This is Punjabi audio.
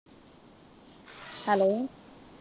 Hello